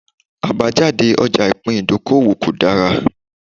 Àbájáde ọjà ìpín ìdókòwò kò dára